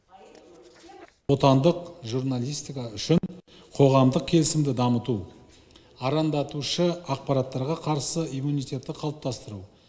отандық журналистика үшін қоғамдық келісімді дамыту арандатушы ақпараттарға қарсы иммунитетті қалыптастыру